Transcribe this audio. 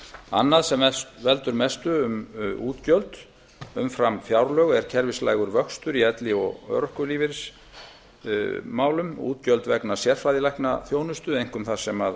annað sem veldur mestu um útgjöld umfram fjárlög er kerfislægur vöxtur í elli og örorkulífeyrismálum útgjöld vegna sérfræðilæknaþjónustu einkum þar sem